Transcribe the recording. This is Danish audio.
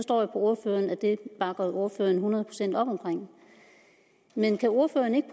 ordføreren at det bakker ordføreren hundrede procent op men kan ordføreren ikke